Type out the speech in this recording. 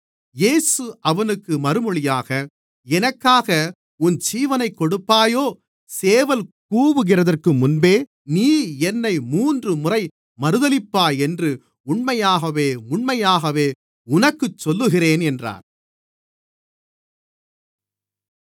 இயேசு அவனுக்கு மறுமொழியாக எனக்காக உன் ஜீவனைக் கொடுப்பாயோ சேவல் கூவுகிறதற்கு முன்பே நீ என்னை மூன்றுமுறை மறுதலிப்பாய் என்று உண்மையாகவே உண்மையாகவே உனக்குச் சொல்லுகிறேன் என்றார்